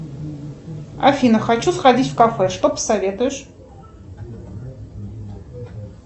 афина хочу сходить в кафе что посоветуешь